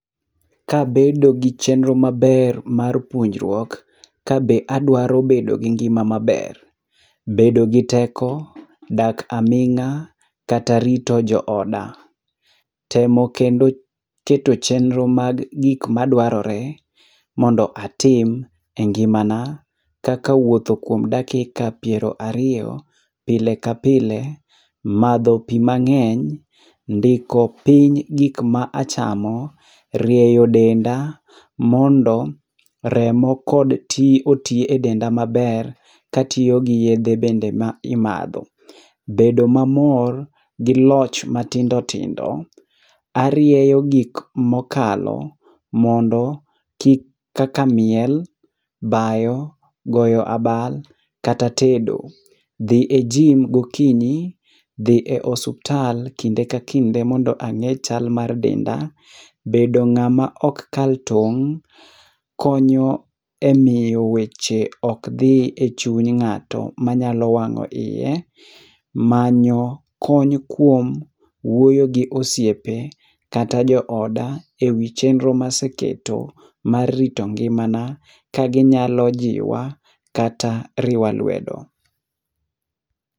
Ka abedo gi chenro maber mar puonjruok ka be aduaro bedo gi ngima maber bedo gi teko, dak aming'a kata rito jo oda. Temo kendo keto chenro mar gik ma duarore mondo atim e ngima na kaka wuotho kuom dakika piero ariyo pile ka pile, madho pi mang'eny ,ndiko piny gik ma achamo, rieyo denda mondo remo kod oti e denda maber ka atiyo gi yedhe ma imadho. Bedo mamor gi loch matindo tindo arieyo gik ma okalo mondo kaka miel, bayo goyo abal kata tedo. Dhi e gym go okinyi, dhi e osiptal kinde ka kinde mondo ang'e chal mar denda ,bedo ng'a ma ok kal tong' konyo e miyo weche ok dhi e chuny ng'ato manyalo wang'o iye, manyo kony kuom wuoyo gi osiepe kata jo oda e wi chenro ma aseketo mar rito ngima na ka gi nyalo jiwa kata riwa lwedo.